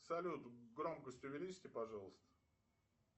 салют громкость увеличьте пожалуйста